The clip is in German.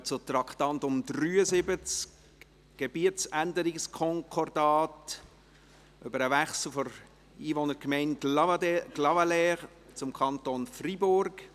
Wir kommen zu Traktandum 73, Gebietsänderungskonkordat über den Wechsel der Einwohnergemeinde Clavaleyres zum Kanton Freiburg.